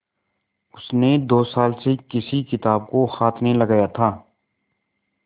उसने दो साल से किसी किताब को हाथ नहीं लगाया था